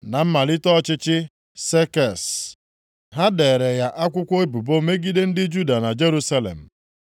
Na mmalite ọchịchị Sekses, ha deere ya akwụkwọ ebubo megide ndị Juda na Jerusalem.